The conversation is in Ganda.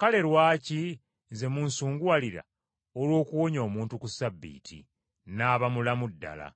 kale lwaki Nze munsunguwalira olw’okuwonya omuntu ku Ssabbiiti, n’aba mulamu ddala?